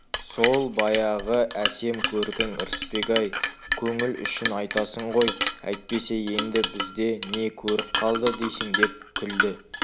сол баяғы әсем көркің ырысбек-ай көңіл үшін айтасың ғой әйтпесе енді бізде не көрік қалды дейсің деп күлді